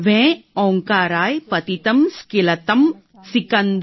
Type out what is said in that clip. વેં ઓંકારાય પતિતં સ્કિલતં સિકંદ